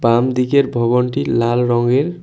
বামদিকের ভবনটি লাল রঙের।